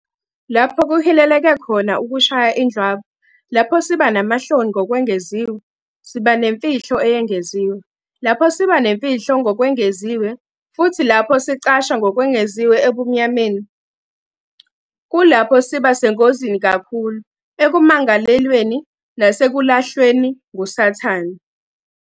Lapho kuhileleke khona ukushaya indlwabu lapho siba namahloni ngokwengeziwe, siba nemfihlo eyengeziwe, lapho siba nemfihlo ngokwengeziwe futhi lapho sicasha ngokwengeziwe ebumnyameni, kulapho siba sengozini kakhulu ekumangalelweni nasekulahlweni nguSathane...